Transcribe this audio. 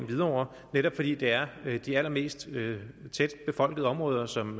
hvidovre netop fordi det er de allermest tæt befolkede områder som